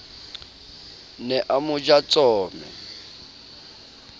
ne a mo ja tsome